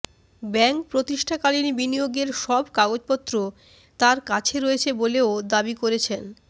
bank প্রতিষ্ঠাকালীন বিনিয়োগের সব কাগজপত্র তার কাছে রয়েছে বলেও দাবি করেছেন